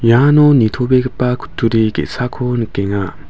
iano nitobegipa kutturi ge·sako nikenga.